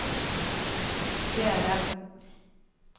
Gerda Von